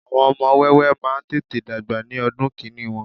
àwọn ọmọ wẹ́wẹ́ ma n tete dagba ní ọdún kini Won